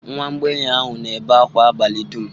nwa mgbei ahụ na-ebe akwa abalị dum.